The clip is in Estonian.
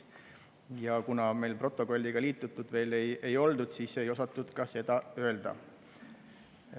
Ja kuna me protokolliga veel liitunud ei ole, siis ei osatud ka seda öelda.